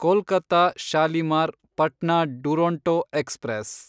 Kolkata Shalimar Patna Duronto express